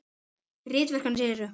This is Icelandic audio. Ritverk hans eru